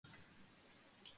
Hver hefur íbúaþróunin verið?